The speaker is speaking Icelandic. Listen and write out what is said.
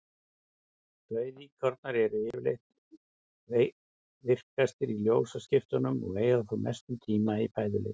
Rauðíkornar eru yfirleitt virkastir í ljósaskiptunum og eyða þá mestum tíma í fæðuleit.